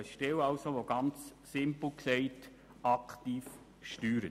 Ganz simpel gesagt, soll diese Stelle aktiv steuern.